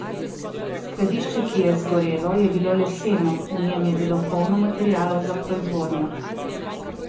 Skladišče, ki je zgorelo, je bilo leseno, v njem je bilo polno materialov za proizvodnjo.